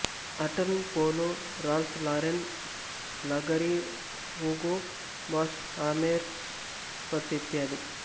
ಆರ್ಟನ್ Polo Ralph Lauren Bulgari Hugo Boss Hermes ಮತ್ತು ಇತ್ಯಾದಿ